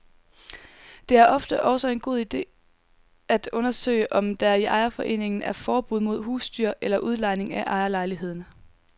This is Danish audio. Det er ofte også en god ide at undersøge, om der i ejerforeningen er forbud mod husdyr eller udlejning af ejerlejligheden.